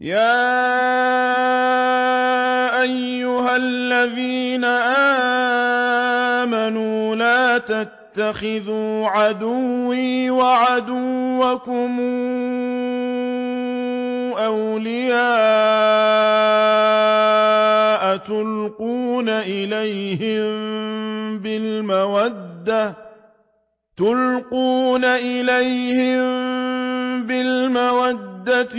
يَا أَيُّهَا الَّذِينَ آمَنُوا لَا تَتَّخِذُوا عَدُوِّي وَعَدُوَّكُمْ أَوْلِيَاءَ تُلْقُونَ إِلَيْهِم بِالْمَوَدَّةِ